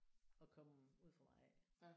At komme ude fra mig af